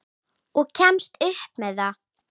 Og kemst upp með það!